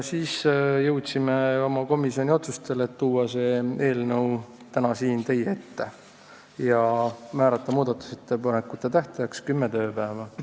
Jõudsime oma komisjoniga ka otsustele tuua see eelnõu täna siia teie ette ja määrata muudatusettepanekute tähtajaks kümme tööpäeva.